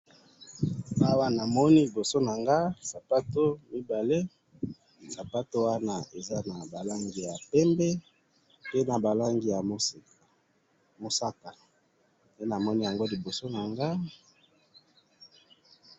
Na moni liboso na nga ba sapato mibale na ba lace ya pembe na mosaka.